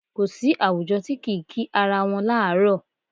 Kò sí àwùjọ tí kì í kí ara wọn láàárọ̀.